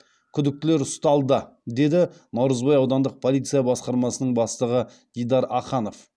күдіктілер ұсталды деді наурызбай аудандық полиция басқармасының бастығы дидар аханов